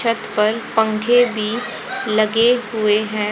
छत पर पंखे भी लगे हुए हैं।